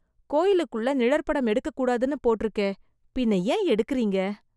கோயிலுக்குள்ள நிழற்படம் எடுக்க கூடாதுன்னு போட்டுருக்கே. பின்ன ஏன் எடுக்குறீங்க?